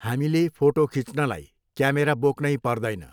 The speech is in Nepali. हामीले फोटो खिच्नलाई क्यामेरा बोक्नै पर्दैन।